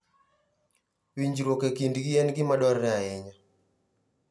Winjruok e kindgi en gima dwarore ahinya.